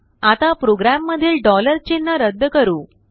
आता प्रोग्राम मधीलचिन्ह रद्द करू